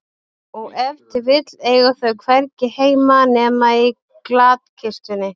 Og ef til vill eiga þau hvergi heima nema í glatkistunni.